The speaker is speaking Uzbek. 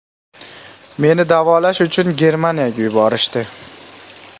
Meni davolash uchun Germaniyaga yuborishdi.